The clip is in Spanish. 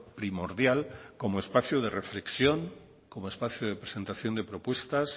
primordial como espacio de reflexión como espacio de presentación de propuestas